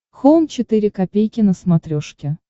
хоум четыре ка на смотрешке